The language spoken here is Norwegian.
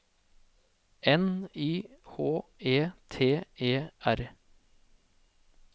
N Y H E T E R